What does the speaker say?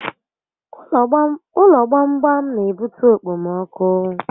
Ụlọ gbam gbam n'ebute okpomọkụ